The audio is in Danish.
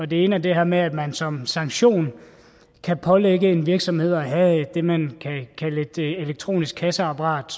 det ene er det her med at man som sanktion kan pålægge en virksomhed at have det man kan kalde et elektronisk kasseapparat